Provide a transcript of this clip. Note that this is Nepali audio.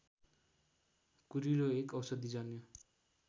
कुरिलो एक औषधिजन्य